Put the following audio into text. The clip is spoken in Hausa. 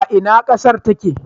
A ina ƙasar take?